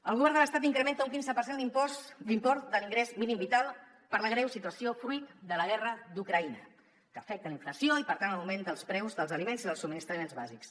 el govern de l’estat incrementa un quinze per cent l’import de l’ingrés mínim vital per la greu situació fruit de la guerra d’ucraïna que afecta la inflació i per tant l’augment dels preus dels aliments i dels subministraments bàsics